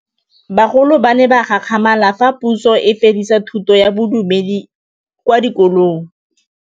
Bagolo ba ne ba gakgamala fa Pusô e fedisa thutô ya Bodumedi kwa dikolong.